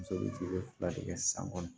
Muso bɛ jigi fila de kɛ san kɔnɔ